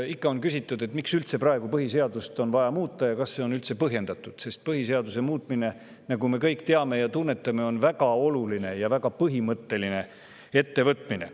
Ikka on küsitud, miks on praegu üldse vaja põhiseadust muuta ja kas see on üldse põhjendatud, sest põhiseaduse muutmine, nagu me kõik teame ja tunnetame, on väga oluline ja väga põhimõtteline ettevõtmine.